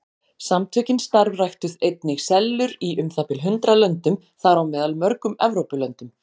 Samtökin starfræktu einnig sellur í um það bil hundrað löndum, þar á meðal mörgum Evrópulöndum.